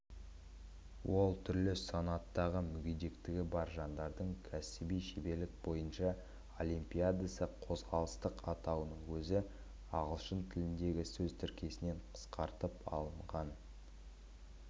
ол түрлі санаттағы мүгетектігі бар жандардың кәсіби шеберлік бойынша олимпиадасы қозғалыстық атауының өзі ағылшын тіліндегі сөз тіркесінен қысқартылып алынған